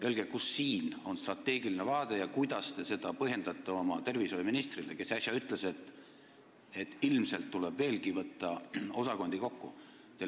Öelge, kus on siin strateegiline vaade, ja kuidas te põhjendate seda oma tervishoiuministrile, kes äsja ütles, et ilmselt tuleb osakondi veelgi kokku võtta.